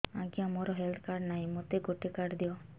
ଆଜ୍ଞା ମୋର health card ନାହିଁ ମୋତେ ଗୋଟେ କାର୍ଡ ଦିଅ